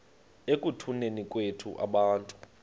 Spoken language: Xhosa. ekutuneni kwethu abantu